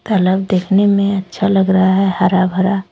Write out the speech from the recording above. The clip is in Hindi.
तालाब देखने में अच्छा लग रहा है हरा भरा।